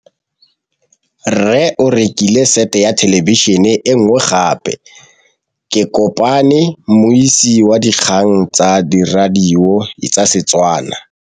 Rre o rekile sete ya thêlêbišênê e nngwe gape. Ke kopane mmuisi w dikgang tsa radio tsa Setswana.